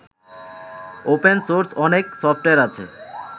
open source অনেক software আছে